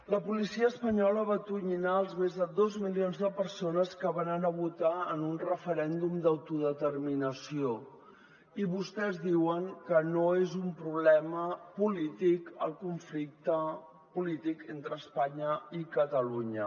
la policia espanyola va atonyinar els més de dos milions de persones que van anar a votar en un referèndum d’autodeterminació i vostès diuen que no és un problema polític el conflicte polític entre espanya i catalunya